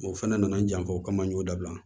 O fana nana n janfa o kama n y'o dabila